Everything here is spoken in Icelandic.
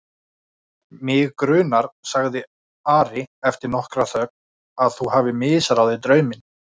Mig grunar, sagði Ari eftir nokkra þögn,-að þú hafir misráðið drauminn.